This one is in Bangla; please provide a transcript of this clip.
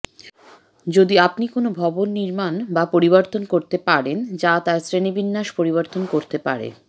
যদি আপনি কোনও ভবন নির্মাণ বা পরিবর্তন করতে পারেন যা তার শ্রেণীবিন্যাস পরিবর্তন করতে পারে